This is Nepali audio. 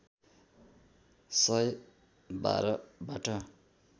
सय १२ बाट